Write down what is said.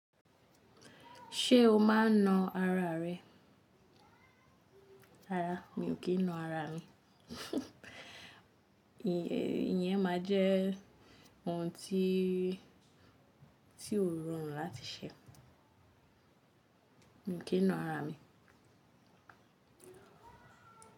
Ṣé o máa n na ara rẹ? Rárá, mi ò kí n na ara mi. Iyẹn máa jẹ ohun tí, tí ó rọrùn láti ṣe. Mi ò kí n na ara mi.